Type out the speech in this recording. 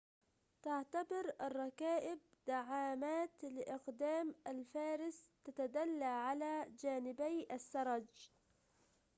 تعتبر الرّكائب دعاماتٍ لأقدام الفارس تتدلّى على جانبيّ السّرج